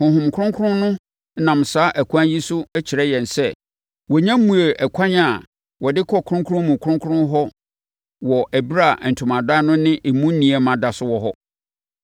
Honhom Kronkron no nam saa ɛkwan yi so kyerɛ yɛn sɛ, wɔnnya mmuee ɛkwan a wɔde kɔ Kronkron mu Kronkron hɔ wɔ ɛberɛ a Ntomadan no ne emu nneɛma da so wɔ hɔ.